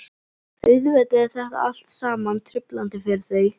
Auðvitað er þetta allt saman truflandi fyrir þau.